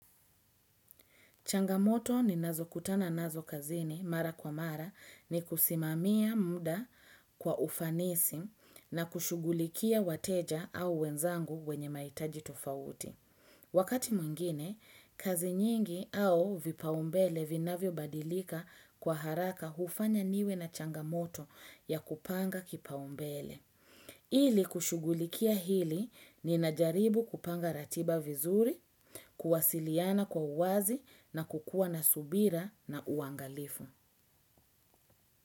Changamoto ninazokutana nazo kazini mara kwa mara ni kusimamia mda kwa ufanisi na kushughulikia wateja au wenzangu wenye mahitaji tofauti. Wakati mwingine, kazi nyingi au vipaumbele vinavyobadilika kwa haraka hufanya niwe na changamoto ya kupanga kipaumbele. Ili kushughulikia hili ninajaribu kupanga ratiba vizuri, kuwasiliana kwa uwazi na kukua na subira na uangalifu.